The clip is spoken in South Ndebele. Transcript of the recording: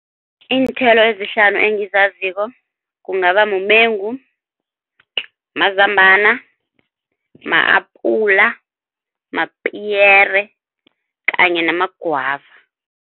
Iinthelo ezihlanu engizaziko kungaba mumengu, mazambana, ma-apula, mapiyere kanye nama-guava.